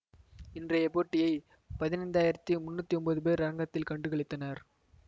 இன்றைய போட்டியை பதினைந்தாயிறத்தி முன்னூத்தி ஒன்பது பேர் அரங்கத்தில் கண்டு களித்தனர்